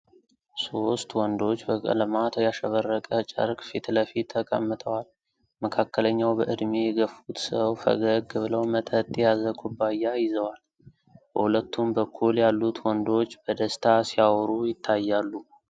ሦስት ወንዶች ከቀለማት ያሸበረቀ ጨርቅ ፊት ለፊት ተቀምጠዋል። መካከለኛው በዕድሜ የገፉት ሰው ፈገግ ብለው መጠጥ የያዘ ኩባያ ይዘዋል። በሁለቱም በኩል ያሉት ወንዶች በደስታ ሲያወሩ ይታያሉ።